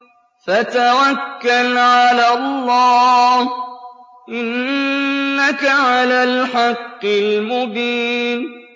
فَتَوَكَّلْ عَلَى اللَّهِ ۖ إِنَّكَ عَلَى الْحَقِّ الْمُبِينِ